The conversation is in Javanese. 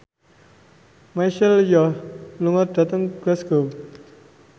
Michelle Yeoh lunga dhateng Glasgow